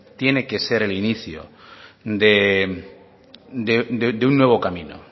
tiene que ser el inicio de un nuevo camino